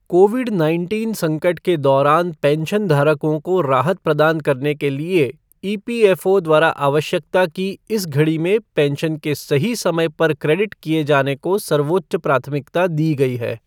Covid nineteen संकट के दौरान पेंशनधारकों को राहत प्रदान करने के लिए ईपीएफओ द्वारा आवश्यकता की इस घड़ी में पेंशन के सही समय पर क्रेडिट किए जाने को सर्वोच्च प्राथमिकता दी गई है।